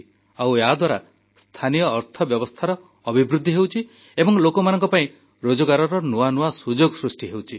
ଆଉ ଏହାଦ୍ୱାରା ସ୍ଥାନୀୟ ଅର୍ଥବ୍ୟବସ୍ଥାର ଅଭିବୃଦ୍ଧି ହେଉଛି ଏବଂ ଲୋକମାନଙ୍କ ପାଇଁ ରୋଜଗାରର ନୂଆ ନୂଆ ସୁଯୋଗ ସୃଷ୍ଟି ହେଉଛି